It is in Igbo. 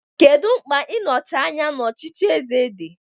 Kedu mkpa nnochi anya n'ọchịchị eze di?